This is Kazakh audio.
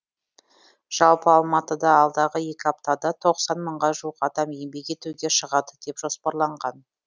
жалпы алматыда алдағы екі аптада мыңға жуық адам еңбек етуге шығады деп жоспарланған